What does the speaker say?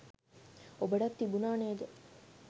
ඔබටත් තිබුණා නේද